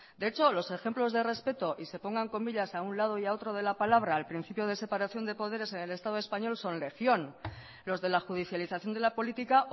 de hecho los ejemplos de respeto y se pongan comillas a un lado y a otro de la palabra al principio de separación de poderes en el estado español son legión los de la judicialización de la política